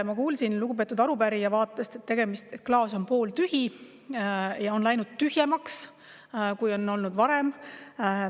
Ma kuulsin lugupeetud arupärija vaatest, et klaas on pooltühi ja on läinud tühjemaks, kui on olnud varem.